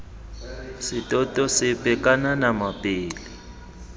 setoto sepe kana nama pele